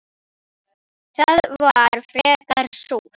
Það var frekar súrt.